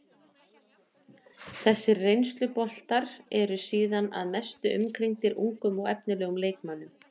Þessir reynsluboltar eru síðan að mestu umkringdir ungum og efnilegum leikmönnum.